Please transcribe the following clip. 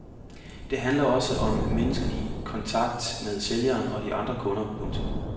Det handler også om menneskelig kontakt med sælgeren og de andre kunder. punktum